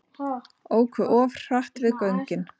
Óku of hratt við göngin